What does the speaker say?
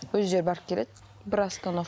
өздері барып келеді бір